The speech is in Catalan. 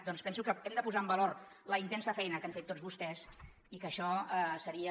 doncs penso que hem de posar en valor la intensa feina que han fet tots vostès i que això seria